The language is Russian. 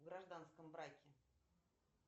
в гражданском браке